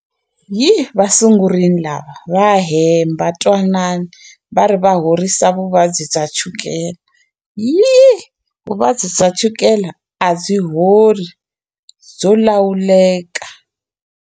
Hi va sungurile lava va hemba twanani va ri va horisa vuvabyi bya chukele yi vuvabyi bya chukela a byi hori byo lawuleka.